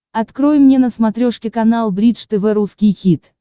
открой мне на смотрешке канал бридж тв русский хит